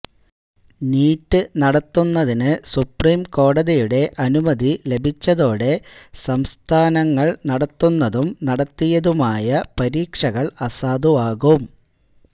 NEET നടത്തുന്നതിന് supreme കോടതിയുടെ അനുമതി ലഭിച്ചതോടെ സംസ്ഥാനങ്ങള് നടത്തുന്നതും നടത്തിയതുമായ പരീക്ഷകള് അസാധുവാകും